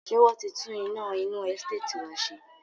Ṣé wọn ti tún iná inú Ẹsteetì wá ṣe?